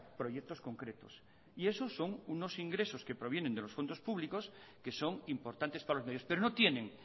proyectos concretos y eso son unos ingresos que provienen de los fondos públicos que son importantes para los medios pero no tienen